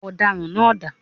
Ọ̀daràn náá dà?